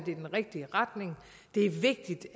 i den rigtige retning det er vigtigt